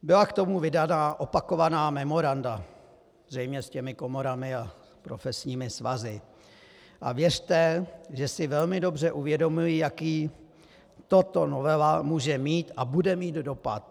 Byla k tomu vydaná opakovaná memoranda, zřejmě s těmi komorami a profesními svazy, a věřte, že si velmi dobře uvědomuji, jaký tato novela může mít a bude mít dopad.